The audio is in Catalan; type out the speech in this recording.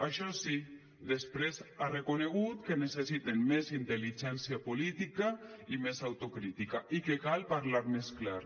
això sí després ha reconegut que necessiten més intel·ligència política i més autocrítica i que cal parlar més clar